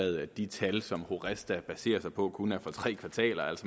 at de tal som horesta baserer sig på kun er for tre kvartaler